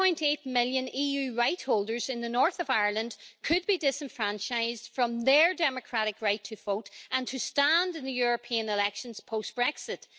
1.8 million EU right holders in the North of Ireland could be disenfranchised from their democratic right to vote and to stand in the European elections post Brexit.